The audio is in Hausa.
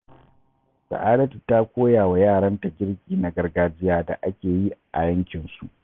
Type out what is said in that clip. Sa’adatu ta koya wa yaranta girki na gargajiya da ake yi a yankinsu.